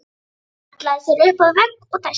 Hallaði sér upp að vegg og dæsti.